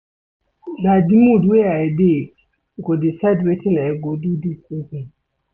Na di mood wey I dey go decide wetin I go do dis evening.